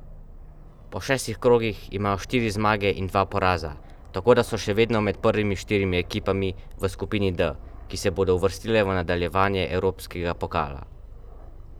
Po šestih krogih imajo štiri zmage in dva poraza, tako da so še vedno med prvimi štirimi ekipami v skupini D, ki se bodo uvrstile v nadaljevanje evropskega pokala.